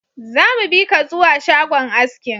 Zamu bika zuwa shagon askin